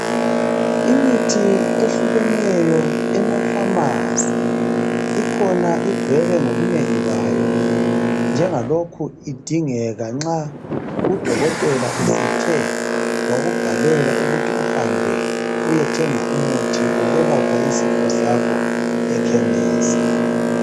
Imithi ehlukeneyo ema"pharmarcy ",ikhona igcwele ngobunengi bayo njengalokho idingeka nxa udokotela esethe wakubhalela ukuthi uhambe uyethenga umuthi wokwelapha isifo sakho ekhemisi.